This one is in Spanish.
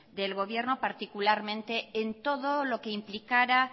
del gobierno particularmente en todo lo que implicara